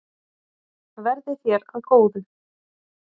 Verði þér að góðu.